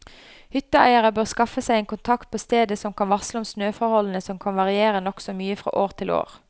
Hytteeiere bør skaffe seg en kontakt på stedet som kan varsle om snøforholdene som kan variere nokså mye fra år til år.